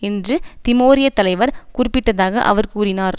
என்று திமோரிய தலைவர் குறிப்பிட்டதாக அவர் கூறினார்